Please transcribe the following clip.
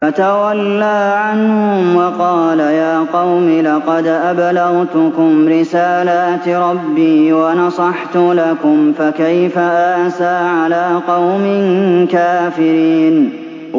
فَتَوَلَّىٰ عَنْهُمْ وَقَالَ يَا قَوْمِ لَقَدْ أَبْلَغْتُكُمْ رِسَالَاتِ رَبِّي وَنَصَحْتُ لَكُمْ ۖ فَكَيْفَ آسَىٰ عَلَىٰ قَوْمٍ كَافِرِينَ